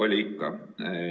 Oli ikka.